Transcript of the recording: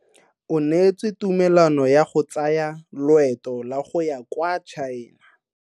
O neetswe tumalanô ya go tsaya loetô la go ya kwa China.